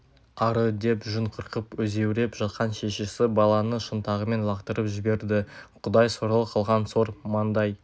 ары деп жүн қырқып өзеуреп жатқан шешесі баланы шынтағымен лақтырып жіберді құдай сорлы қылған сор маңдай